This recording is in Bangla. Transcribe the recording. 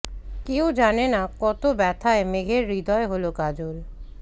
কেউ জানে না কত ব্যথায় মেঘের হৃদয় হলো কাজল